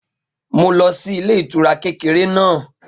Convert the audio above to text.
Mo lọ sí ilé ìtura kékeré náà